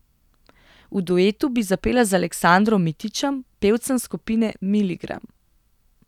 V duetu bi zapela z Aleksandrom Mitićem, pevcem skupine Miligram.